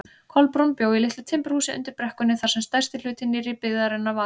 Kolbrún bjó í litlu timburhúsi undir brekkunni þar sem stærsti hluti nýrri byggðarinnar var.